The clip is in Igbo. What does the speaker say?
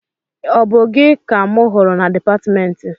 Ọ bụ gị ka mụ hụrụ na dịpatmentị?